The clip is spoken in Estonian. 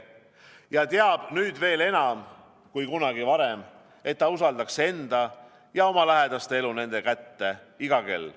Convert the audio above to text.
Ta teab nüüd veel enam kui kunagi varem, et ta usaldaks enda ja oma lähedaste elu nende kätte iga kell.